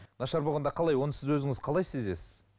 нашар болғанда қалай оны сіз өзіңіз қалай сезесіз